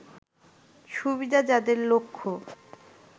সুবিধা যাদের লক্ষ্য